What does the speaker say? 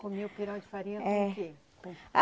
Comia o pirão de farinha com o quê?